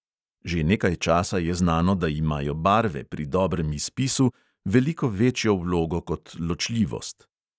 Že nekaj časa je znano, da imajo barve pri dobrem izpisu veliko večjo vlogo kot ločljivost.